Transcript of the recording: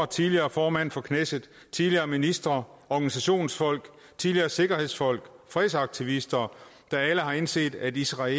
tidligere formand for knesset tidligere ministre organisationsfolk tidligere sikkerhedsfolk og fredsaktivister der alle har indset at israel